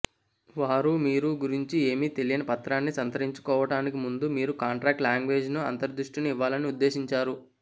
వారు మీరు గురించి ఏమీ తెలియని పత్రాన్ని సంతరించుకోవటానికి ముందు మీరు కాంట్రాక్ట్ లాంగ్వేజ్లో అంతర్దృష్టిని ఇవ్వాలని ఉద్దేశించారు